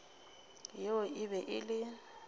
yeo e be e le